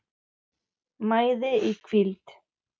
mæði í hvíld